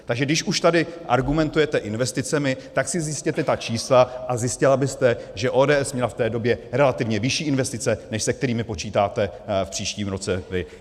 Takže když už tady argumentujete investicemi, tak si zjistěte ta čísla, a zjistila byste, že ODS měla v té době relativně vyšší investice, než se kterými počítáte v příštím roce vy.